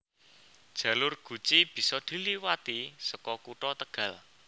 Jalur Guci bisa diliwati saka Kutha Tegal